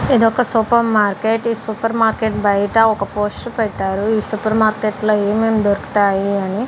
ఇదొక super market ఈ super market బయట ఒక పోస్టర్ పెట్టారు ఈ సూపర్ మార్కెట్ లో ఏమేమి దొరుకుతాయి అని.